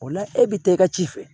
O la e bɛ taa i ka ci fɛ